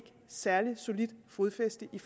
særligt solidt fodfæste i